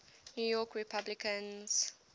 new york republicans